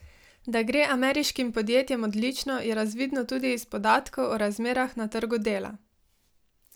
Da gre ameriškim podjetjem odlično, je razvidno tudi iz podatkov o razmerah na trgu dela.